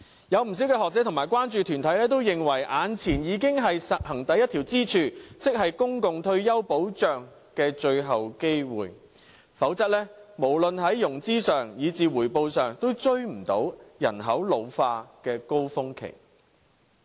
不少學者和關注團體都認為，眼前已經是實行第一條支柱，即是公共退休保障的最後機會，否則無論在融資上，以至回報上，也追不上人口老化的高峰期。